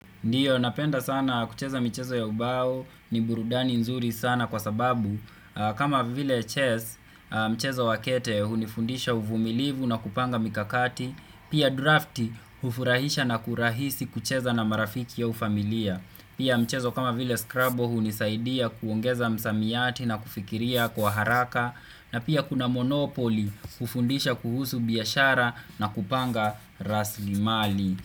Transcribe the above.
Ndio napenda sana kucheza michezo ya ubao ni burudani nzuri sana kwa sababu kama vile chess mchezo wakete hunifundisha uvumilivu na kupanga mikakati pia draft hufurahisha na kurahisi kucheza na marafiki au familia pia mchezo kama vile scrabble hunisaidia kuongeza msamiati na kufikiria kwa haraka na pia kuna monopoli hufundisha kuhusu biashara na kupanga rasli mali.